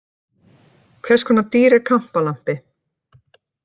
Hvers konar dýr er kampalampi?